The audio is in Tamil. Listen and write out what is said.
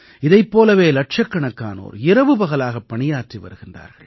இதைப் போலவே இலட்சக்கணக்கானோர் இரவுபகலாகப் பணியாற்றி வருகிறார்கள்